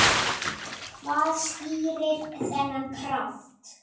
Hvað skýrir þennan kraft?